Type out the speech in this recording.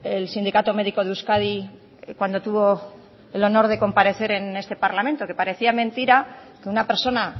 el sindicato médico de euskadi cuando tuvo el honor de comparecer en este parlamento que parecía mentira que una persona